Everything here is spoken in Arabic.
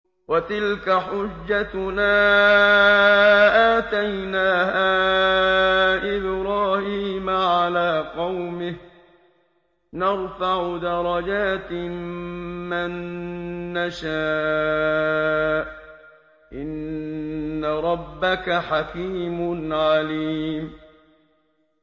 وَتِلْكَ حُجَّتُنَا آتَيْنَاهَا إِبْرَاهِيمَ عَلَىٰ قَوْمِهِ ۚ نَرْفَعُ دَرَجَاتٍ مَّن نَّشَاءُ ۗ إِنَّ رَبَّكَ حَكِيمٌ عَلِيمٌ